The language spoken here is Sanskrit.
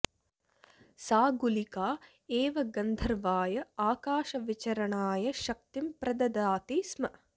सा गुलिका एव गन्धर्वाय आकाशविचरणाय शक्तिं प्रददाति स्म